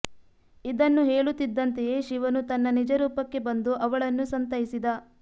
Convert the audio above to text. ಇದನ್ನು ಹೇಳುತ್ತಿದ್ದಂತೆಯೆ ಶಿವನು ತನ್ನ ನಿಜ ರೂಪಕ್ಕೆ ಬಂದು ಅವಳನ್ನು ಸಂತೈಸಿದ